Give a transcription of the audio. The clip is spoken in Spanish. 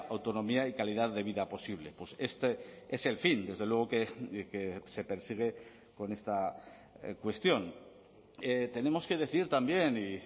autonomía y calidad de vida posible pues este es el fin desde luego que se persigue con esta cuestión tenemos que decir también y